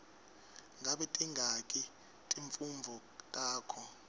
ngabe tingaki timfundvo takho